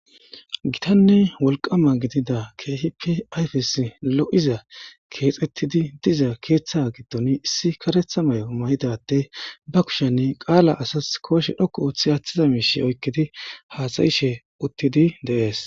gittanne wolqqama gididda ke'ihippe ayfes lo'iza keexettidi diza keeththa giddoni issi kareeththa may'o may'idda adey ba kushenne qala asas kooshshe dhoqqu ooththidi aaththiza miishi oykkidi haasayishshe uttidi dees